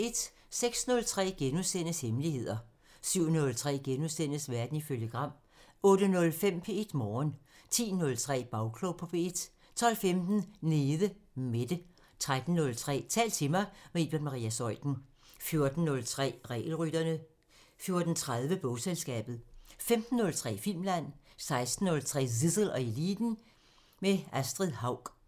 06:03: Hemmeligheder * 07:03: Verden ifølge Gram * 08:05: P1 Morgen 10:03: Bagklog på P1 12:15: Nede Mette 13:03: Tal til mig – med Iben Maria Zeuthen 14:03: Regelrytterne 14:30: Bogselskabet 15:03: Filmland 16:03: Zissel og Eliten: Med Astrid Haug